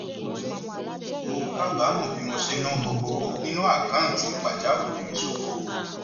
mo kábàámọ bí mo ṣe ná gbogbo owó nínú àkáǹtì pàjáwìrì mi ṣòfò